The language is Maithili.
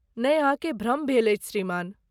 नै, अहाँकेँ भ्रम भेल अछि श्रीमान।